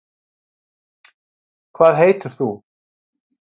Hvað heitir þú?